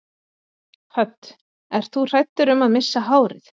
Hödd: Ert þú hræddur um að missa hárið?